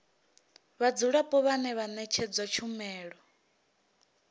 vhadzulapo vhane vha ṅetshedzwa tshumelo